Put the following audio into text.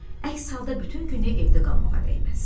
Əks halda bütün günü evdə qalmağa dəyməz.